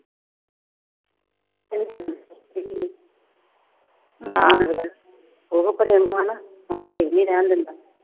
ਉਹ ਆ, ਹੁਣ ਘਰੇੇ ਵੀ ਨੀ ਰਹਿਣ ਦਿੰਦਾ।